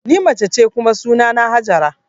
Ni mace ce kuma sunana Hajara